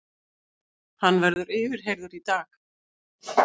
Hann verður yfirheyrður í dag